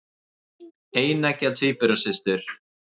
Eineggja tvíburasystur.